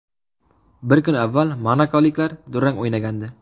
Bir kun avval monakoliklar durang o‘ynagandi.